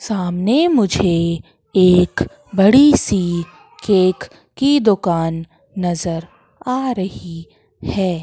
सामने मुझे एक बड़ी सी केक की दुकान नजर आ रही है।